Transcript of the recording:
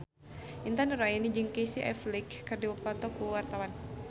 Intan Nuraini jeung Casey Affleck keur dipoto ku wartawan